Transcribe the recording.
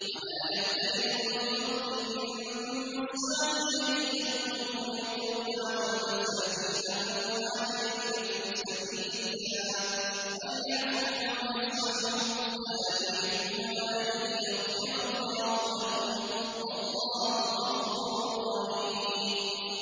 وَلَا يَأْتَلِ أُولُو الْفَضْلِ مِنكُمْ وَالسَّعَةِ أَن يُؤْتُوا أُولِي الْقُرْبَىٰ وَالْمَسَاكِينَ وَالْمُهَاجِرِينَ فِي سَبِيلِ اللَّهِ ۖ وَلْيَعْفُوا وَلْيَصْفَحُوا ۗ أَلَا تُحِبُّونَ أَن يَغْفِرَ اللَّهُ لَكُمْ ۗ وَاللَّهُ غَفُورٌ رَّحِيمٌ